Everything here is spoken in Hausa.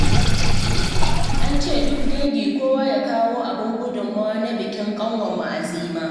An ce duk dangi kowa ya kawo abin gudunmawa na bikin ƙanwarmu Azima